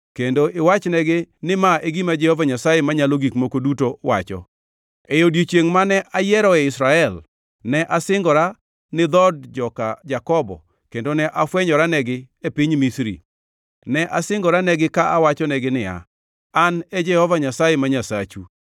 kendo iwachnegi ni ma e gima Jehova Nyasaye Manyalo Gik Moko Duto wacho: E odiechiengʼ mane ayieroe Israel, ne asingora ni dhood joka Jakobo kendo ne afwenyoranegi e piny Misri. Ne asingoranegi ka awachonegi niya, “An e Jehova Nyasaye ma Nyasachu.”